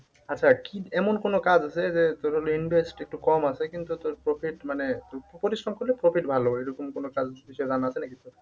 আচ্ছা কি এমন কোনো কাজ আছে যে তোর হলো invest একটু কম আছে কিন্তু তোর profit মানে পরিশ্রম করলে profit ভালো এরকম কোন কাজ এর বিষয়ে জানা আছে নাকি তোর?